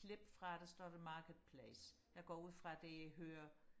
klip fra der står der marketplace jeg går ud fra det hører